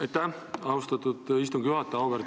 Aitäh, austatud istungi juhataja!